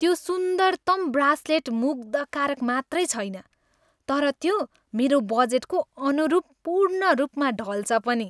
त्यो सुन्दरतम ब्रासलेट मुग्धकारक मात्रै छैन तर त्यो मेरो बजेटको अनुरूप पूर्णरूपमा ढल्छ पनि।